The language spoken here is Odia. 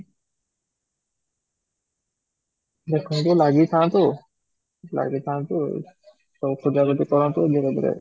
ଦେଖନ୍ତୁ ଲାଗିଥାନ୍ତୁ, ଲାଗିଥାନ୍ତୁ ଏକୁଟିଆ ବି କରନ୍ତୁ ଧିରେ ଧିରେ